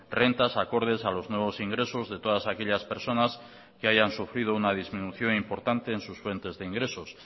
rentas acordes a los nuevos ingresos de todas aquellas personas que hayan sufrido una disminución importante en sus fuentes de ingresos